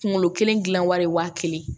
Kunkolo kelen gilan wari ye waa kelen ye